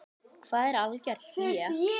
Hvað er algert hlé?